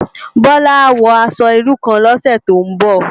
Bola á wò aṣò irú kán lòsè tó n bò